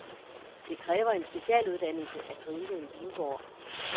Det kræver en specialuddannelse at drive en vingård.